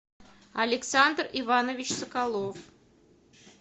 александр иванович соколов